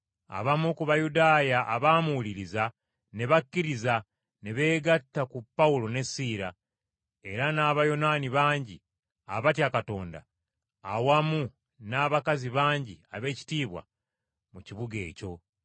Abamu ku Bayudaaya abaamuwuliriza ne bakkiriza ne beegatta ku Pawulo ne Siira; era n’Abayonaani bangi abatya Katonda awamu n’abakazi bangi ab’ekitiibwa mu kibuga ekyo.